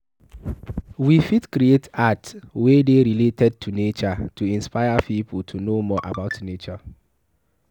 We fit create art wey dey related to nature to inspire pipo to know more about nature